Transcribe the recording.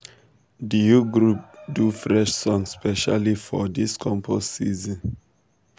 the youth group do fresh song specially for this compost season.